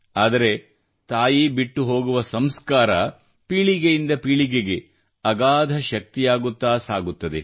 ಆದರೆ ತಾಯಿ ಬಿಟ್ಟು ಹೋಗುವ ಸಂಸ್ಕಾರ ಪೀಳಿಗೆಯಿಂದ ಪೀಳಿಗೆಗೆ ಅಗಾಧ ಶಕ್ತಿಯಾಗುತ್ತಾ ಸಾಗುತ್ತದೆ